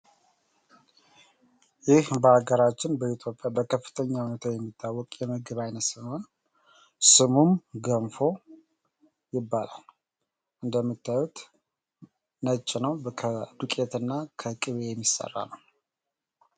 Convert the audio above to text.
ይህ በሀገራችን በጣም የሚታወቅ ምግብ ነው ።ይህም ምግብ ገንፎ ይባላል። እንደምናየው ነጭ ነው ።ከዱቄትና ከቂቤ የሚሰራ ነው ።